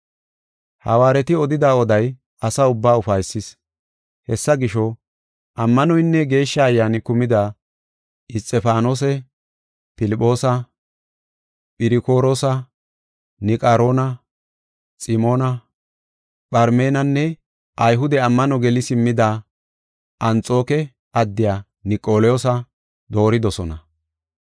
Hawaareti odida oday asa ubba ufaysis. Hessa gisho, ammanoynne Geeshsha Ayyaani kumida Isxifaanose, Filphoosa, Phirokoroosa, Niqaroona, Ximoona, Pharmenanne Ayhude ammano geli simmida Anxooke addiya Niqolawoosa dooridosona.